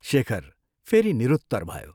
शेखर फेरि निरुत्तर भयो।